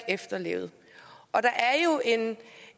efterlevet der er en